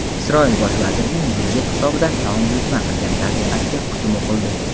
Isroil bosh vazirining budjet hisobidan taom buyurtma qilgan rafiqasiga hukm o‘qildi.